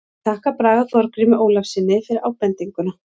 Ég þakka Braga Þorgrími Ólafssyni fyrir ábendinguna.